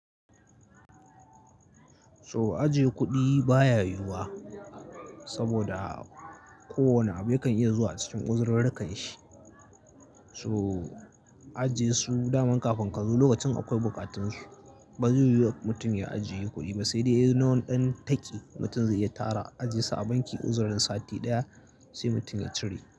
So ajiye kuɗi baya yiwuwa saboda kowane abu kan iya zuwa a cikin uzururrukan shi. So ajiye su dama kafin ka zo lokacin akwai bukatunsu. Ba zai yiwu mutum ya ajiye kuɗi ba sai dai ya yi na wani ɗan taƙi mutum zai iya tara ajesu a banki uzurrin sati ɗaya sai mutum ya cire.